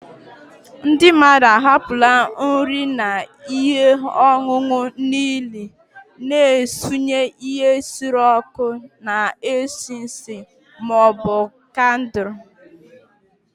Ndị mmadụ hapụrụ nri na ihe ọṅụṅụ n'ili, na-esure ihe nsure ọkụ na-esi ísì ụtọ ma ọ bụ kandụl